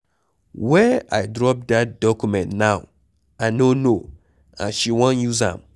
Where I drop dat document now I no know and she wan use am